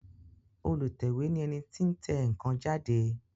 Olùtẹ̀wé ni ẹni tí ń tẹ ǹkan jáde